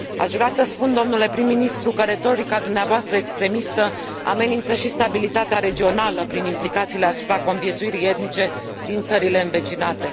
Aș vrea să spun, domnule prim ministru, că retorica dumneavoastră extremistă amenință și stabilitatea regională prin implicațiile asupra conviețuirii etnice din țările învecinate.